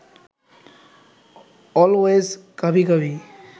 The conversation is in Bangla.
অলওয়েজ কাভি কাভি